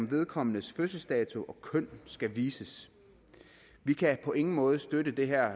vedkommendes fødselsdato og køn skal vises vi kan på ingen måde støtte det her